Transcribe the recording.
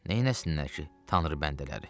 Neynəsinlər ki, Tanrı bəndələri.